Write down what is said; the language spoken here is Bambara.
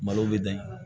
Malo bɛ dan